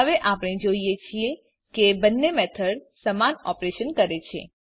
હવે આપણે જોઈએ છીએ કે બંને મેથડ સમાન ઓપરેશન કરે છે